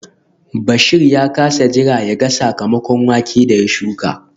Bashir ya kasa jira yaga sakamakon wake da ya shuka